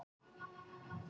Þórdís: Og upp?